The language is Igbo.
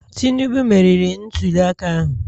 Tinubu meriri ntuliaka ahụ?